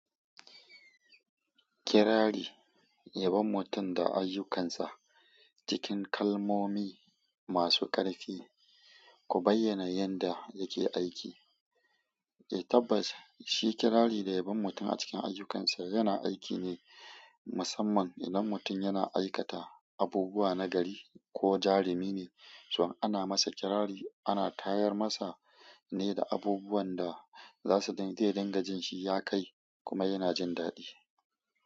Kirari, yabon mutum da ayyukansa cikin kalmomi masu ƙarfi, ku bayyana yadda yake aiki. Eh tabbas, shi kirari da yabon mutum a cikin ayyukansa yana aiki ne musamman idan mutum yana aikata abubuwa na gari ko jarumi ne, son ana masa kirari ana tayar masa ne da abubuwan da za su daidai yadingajin shi ya kai kuma yana jin daɗi.